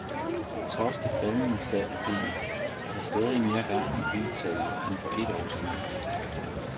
Trods det faldende salg af biler, er der stadig mere gang i bilsalget end for et år siden.